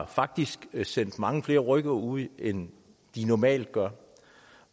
faktisk har sendt mange flere rykkere ud end de normalt gør